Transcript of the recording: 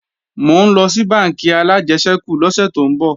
Mò ńlọ sí bánkì alájẹsẹ́kù lọ́sè tó ń bọ̀